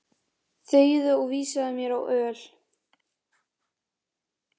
Þegiðu og vísaðu mér á öl.